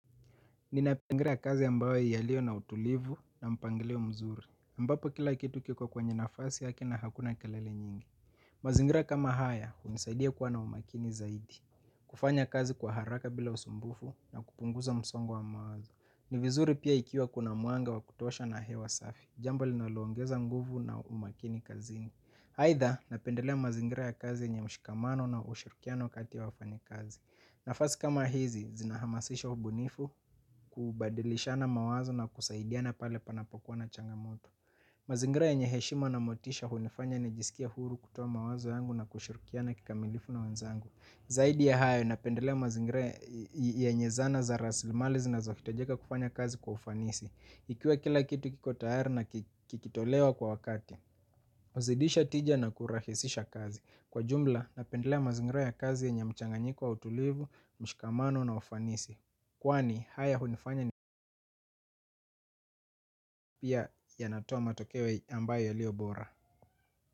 Ninapendelea kazi ambayo yalio na utulivu na mpangilio mzuri aMbapo kila kitu kiko kwenye nafasi yake na hakuna kelele nyingi. Mazingira kama haya hunisaidia kuwa na umakini zaidi. Kufanya kazi kwa haraka bila usumbufu na kupunguza msongo wa mawazo. Ni vizuri pia ikiwa kuna mwanga wa kutosha na hewa safi. Jambo linaloongeza nguvu na umakini kazini aitha napendelea mazingira ya kazi yenye mshikamano na ushirukiano kati wafanyikazi. Nafasi kama hizi, zinahamasisho ubunifu kubadilishana mawazo na kusaidiana pale panapokuwa na changamoto. Mazingira yenye heshima na motisha hunifanya nijisikia huru kutoa mawazo yangu na kushirikiana kikamilifu na wenzangu. Zaidi ya hayo, napendelea mazingira yenye zana za raslimali zinazohitajika kufanya kazi kwa ufanisi. Ikiwa kila kitu kiko tayari na kikitolewa kwa wakati. Pazidisha tija na kurahisisha kazi. Kwa jumla napendelea mazingira ya kazi yenye mchanganyiko wa utulivu, mshikamano na ufanisi kwani haya hunifanya ni pia yanatoa matokoe ambayo yaliyo bora.